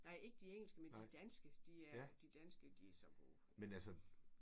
Nej ikke de engelske men de danske. De er de danske de er så gode